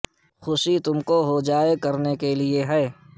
خوشی تم کون ہو جائے کرنے کے لئے ہے